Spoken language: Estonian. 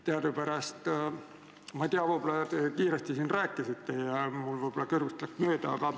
Võib-olla te sellest kiiresti juba rääkisite ja mul läks kõrvust mööda.